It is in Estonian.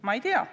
Ma ei tea.